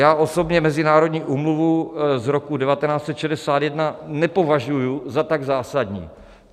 Já osobně mezinárodní úmluvu z roku 1961 nepovažuji za tak zásadní.